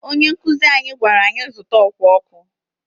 Ónyé nkuzi anyị gwara anyị zụta ọkwá ọkụ.